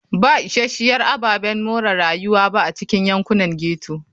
Ba isasshiyar ababen more rayuwa ba a cikin yankunan ghetto.